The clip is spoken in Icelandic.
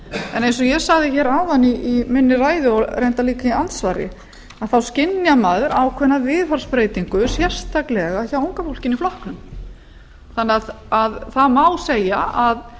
en eins og ég sagði hér áðan í minni ræðu og reyndar líka í andsvari þá skynjar maður ákveðna viðhorfsbreytingu sérstaklega hjá unga fólkinu í flokknum það má segja að